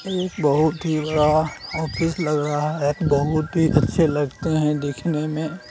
ये बहोत ही बड़ा ऑफिस लग रहा है बहोत ही अच्छे लगते हैं। देखने मे--